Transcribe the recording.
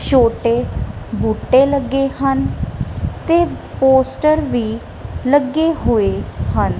ਛੋਟੇ ਬੂਟੇ ਲੱਗੇ ਹਨ ਤੇ ਪੋਸਟਰ ਵੀ ਲੱਗੇ ਹੋਏ ਹਨ।